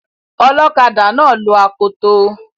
Ọlọkadà náà lo akoto